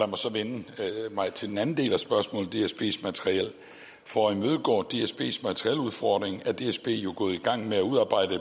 mig så vende mig til den anden del af spørgsmålet nemlig dsbs materiel for at imødegå dsbs materieludfordring er dsb gået i gang med at udarbejde